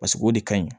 Paseke o de ka ɲi